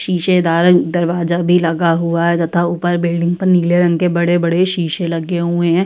शीशेदार दरवाजा भी लगा हुआ है तथा ऊपर बिल्डिंग पर नीले रंग के बड़े बड़े शीशे लगे हुए हैं।